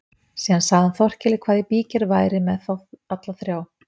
Síðan sagði hann Þórkeli hvað í bígerð væri með þá alla þrjá.